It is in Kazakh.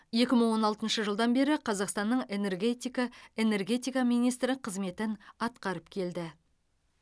екі мың он алтыншы жылдан бері қазақстанның энергетика энергетика министрі қызметін атқарып келді